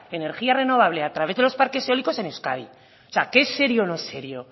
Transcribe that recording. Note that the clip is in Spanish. energías renovables a través de los parques eólicos en euskadi qué es serio o no es serio